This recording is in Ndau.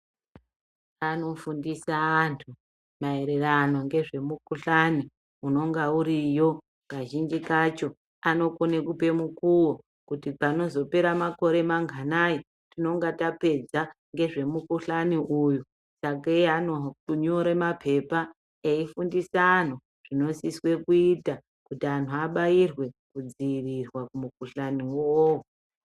Anofundisa antu maererano ngezve mu kuhlani ononga uriyo kazhinji kacho ano kone kupe mukuwo kuti panozo pera makore manganai tinonga tapedza ngezve mu kuhlani uyu sake ano nyore mapepa eyi fundisa anhu zvino siswe kuita kuti antu abairwe ku dzivirirwa ku mu kuhlani iwowo.